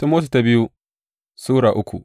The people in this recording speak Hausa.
biyu Timoti Sura uku